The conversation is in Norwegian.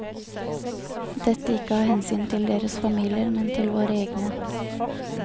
Dette ikke av hensyn til deres familier, men til våre egne.